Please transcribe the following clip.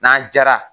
N'an jara